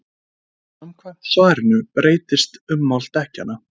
samkvæmt svarinu breytist ummál dekkjanna